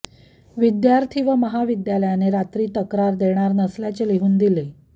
विद्यार्थी व महाविद्यालयाने रात्री तक्रार देणार नसल्याचे लिहून दिले